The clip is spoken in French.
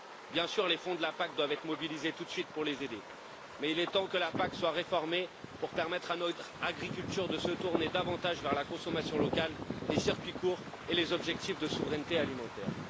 Bien sûr, les fonds de la PAC doivent être mobilisés tout de suite pour les aider, mais il est temps que la PAC soit réformée pour que notre agriculture se tourne davantage vers la consommation locale, les circuits courts et les objectifs de souveraineté alimentaire.